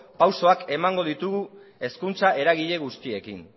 pausuak emango ditugu hezkuntza eragile guztiekin